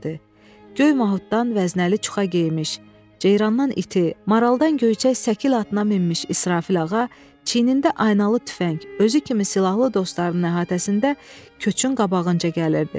Göy mahuddan vəznəli çuxa geyinmiş, ceyrandan iti, maraldan göyçək səkil atına minmiş İsrafil ağa çiyinində aynalı tüfəng, özü kimi silahlı dostlarının əhatəsində köçün qabağınca gəlirdi.